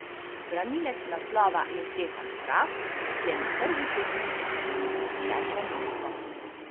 Branilec naslova je Stefan Kraft, ki je na prvi tekmi osvojil sedmo mesto.